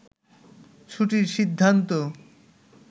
ছুটির সিদ্ধান্ত